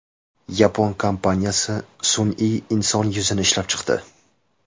Yapon kompaniyasi sun’iy inson yuzini ishlab chiqdi.